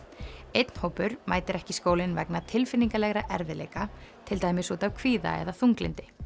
einn hópur mætir ekki í skólann vegna tilfinningalegra erfiðleika til dæmis út af kvíða eða þunglyndi